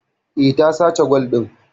Eh, ta sace gwal din